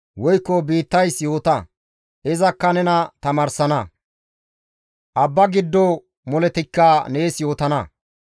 Woykko biittays yoota; izakka nena tamaarsana; abba giddo moletikka nees yootana.